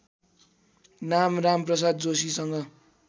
नाम रामप्रसाद जोशीसँग